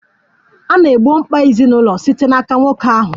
A na-egbo mkpa ezinụlọ site n'aka nwoke ahụ.